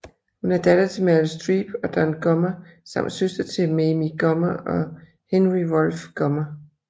Hun er datter til Meryl Streep og Don Gummer samt søster till Mamie Gummer og Henry Wolfe Gummer